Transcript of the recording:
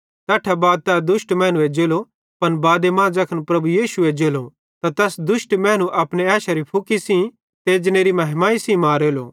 तैट्ठां बाद तै दुष्ट मैनू एज्जेलो पन बादे मां ज़ैखन प्रभु यीशु एज्जेलो त तैस दुष्ट मैनू अपने ऐशेरे फुकी सेइं ते एजनेरी महिमाई सेइं मारेलो